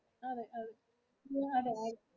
you had a right